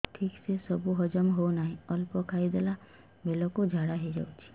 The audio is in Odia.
ଠିକସେ ସବୁ ହଜମ ହଉନାହିଁ ଅଳ୍ପ ଖାଇ ଦେଲା ବେଳ କୁ ଝାଡା ହେଇଯାଉଛି